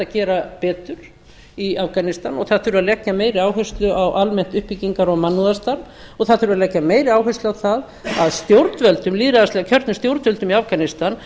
gera betur í afganistan og það þurfi að leggja meiri áherslu á almennt uppbyggingar og mannúðarstarf og það þurfi að leggja meiri áherslu á það að lýðræðislega kjörnum stjórnvöldum í afganistan